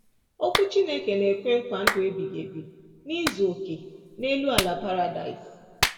Okwu Chineke na-ekwe nkwa ndụ ebighị ebi n’izu okè n’elu ala paradaịs.